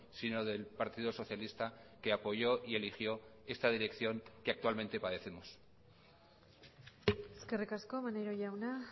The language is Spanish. sino del partido socialista que apoyó y eligió esta dirección que actualmente padecemos eskerrik asko maneiro jauna